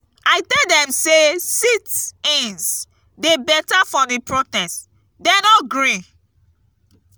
i tell dem say sit-ins dey better for the protest dey no gree.